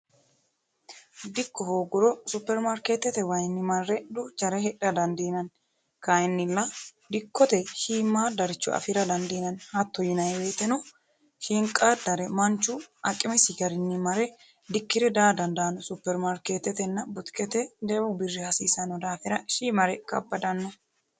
dikko hooguro supermaarkeetete wayinni marre duuchare hidha dandiinanni kayinnilla dikkote shiimmaddaricho afira dandiinanni hatto yinay woyiteno shiinqaaddare manchu aqimesi garinni mare dikkire daa dandaanno supermaarkeetetenna butikete jawu birri hasiisanno daafira shiimare kabbadanno.